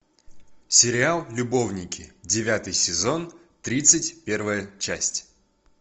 сериал любовники девятый сезон тридцать первая часть